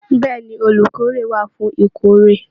Bẹ̀ẹ́ni, olukórè wà fún ìkórè.